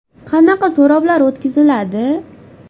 Qanaqa so‘rovlar o‘tkaziladi?